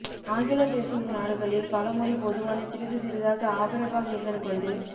ஆங்கிலம் பேசும் நாடுகளில் பழமொழி பொதுவான சிறிது சிறிதாக ஆபிரகாம் லிங்கன் கொண்டு